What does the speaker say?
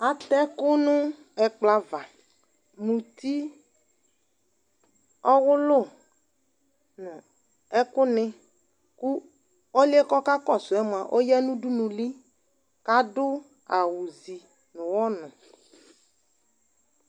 Atɛ ɛkʋ nʋ ɛkplɔ ava, muti, ɔwʋlʋ nʋ ɛkʋnɩ kʋ ɔlʋ yɛ kakɔsʋ yɛ mʋa, ɔya nʋ udunuli kʋ adʋ awʋzi nʋ ɔɣɔnʋ